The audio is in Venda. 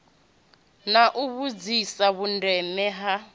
na u vhudzisa vhundeme ha